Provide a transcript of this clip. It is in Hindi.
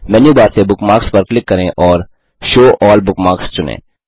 मेनू बार से बुकमार्क्स पर क्लिक करें और शो अल्ल बुकमार्क्स चुनें